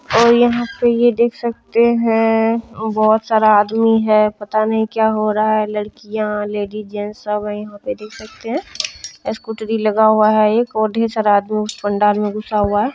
और यहाँ पे ये देख सकते है बोहत सारा आदमी है पता नहीं क्या हो रहा है लड़कियां लेडीज जेंट्स सब है यहाँ पे देख सकते है स्कूटरी लगा हुआ एक और ढेर सारा आदमी पंडाल में घुसा हुआ है।